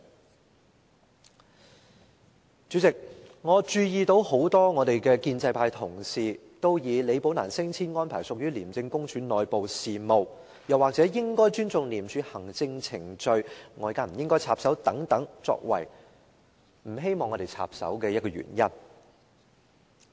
代理主席，我注意到立法會很多建制派的同事都以李寶蘭的升遷安排屬於廉署內部事務，又或應該尊重廉署的行政程序，外界不應插手等，作為不希望立法會插手的原因。